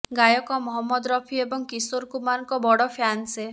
ଗାୟକ ମହମ୍ମଦ ରଫି ଏବଂ କିଶୋର କୁମାରଙ୍କ ବଡ଼ ଫ୍ୟାନ୍ ସେ